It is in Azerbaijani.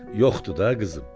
Yoxdu da qızım.